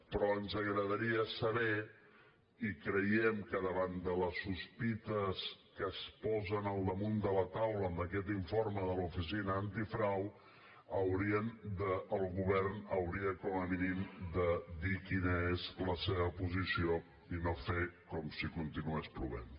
però ens agradaria saber i creiem que davant de les sospites que es posen al damunt de la taula amb aquest informe de l’oficina antifrau el govern hauria com a mínim de dir quina és la seva posició i no fer com si continués plovent